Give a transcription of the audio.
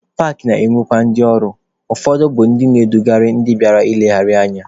Paakị na-enwe ndị ọrụ, ụfọdụ bụ ndị na-edugharị ndị bịara nlegharị anya.